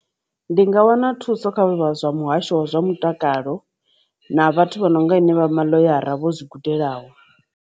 Ndi nga wana thuso kha zwa muhasho wa zwa mutakalo na vhathu vha no nga henevha maḽoyara vho zwi gudelaho.